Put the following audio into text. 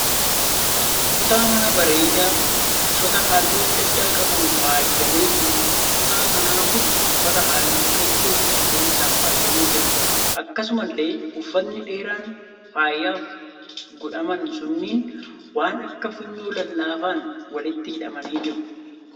Kutaa manaa bareedaa uffata halluu adda adda qabuun faayyamee jiruudha. Kutaan manaa kun uffata halluu keelloo fi cuquliisaan faayyamee jira. Akkasumallee uffatni dheeraan faayaaf godhaman sunniin waan akka funyoo lallaafaan walitti hidhamanii jiru